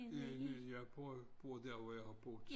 Ja jeg bor der hvor jeg har boet